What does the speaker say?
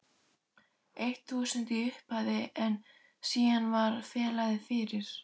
eitt þúsund í upphafi en síðan varð félagið fyrir